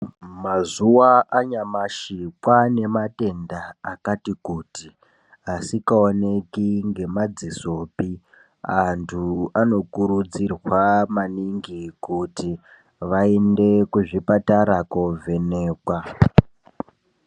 Mazuva anyamashi kwane matenda akati kuti asingaoneki ngemadzisopi antu anokurudzirwa maningi kuti vaende kuzvipatara kovhenekwa.